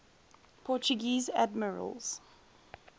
portuguese admirals